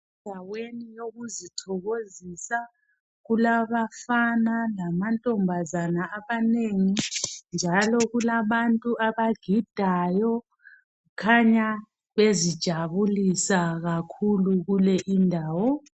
Endaweni yokuzithokozisa kulabafana lamantombazana amanengi njalo kulabantu abagidayo kukhanya bezijabulisa kakhulu kule indawo.